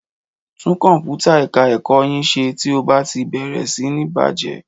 Tún kọ̀m̀pútà ẹ̀ká ẹ̀kọ yín ṣe tí ó bá ti bẹ̀rẹ̀ sí ní bàjẹ́